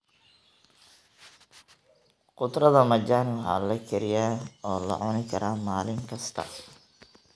Khudradda majani waxaa la kariyaa oo la cuni karaa maalin kasta.